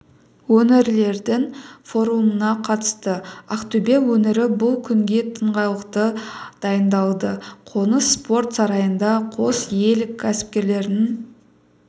өңірлердің форумына қатысты ақтөбе өңірі бұл күнге тыңғылықты дайындалды қоныс спорт сарайында қос ел кәсіпкерлерінің